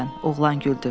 Oğlan güldü.